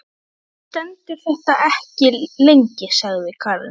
Vonandi stendur þetta ekki lengi, sagði Karen.